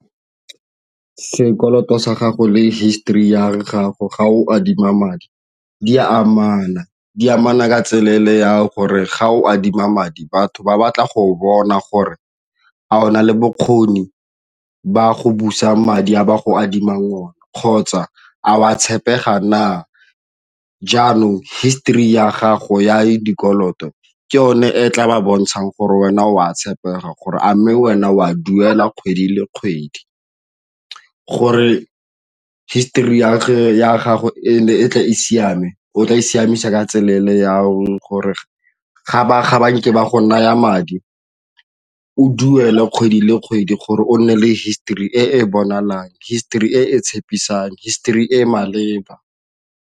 Sekoloto sa gago le histori ya gago ga o adima madi di a amana, di amana ka tswelele ya gore ga o adima madi batho ba batla go bona gore a o na le bokgoni ba go busa madi a ba go adima one, kgotsa a wa tshepegang na jaanong histori ya gago ya dikoloto ke yone e tla ba bontshang gore wena o a tshepega gore a mme wena o a duela kgwedi le kgwedi gore histori ya gago e tle e siame o tla e siamisa ka tswelele jang gore ga ba banka ba go naya madi o duelwa kgwedi le kgwedi gore o nne le histori e bonalang histori e tshepisang, histori e e maleba.